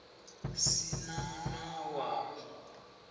si na na wa u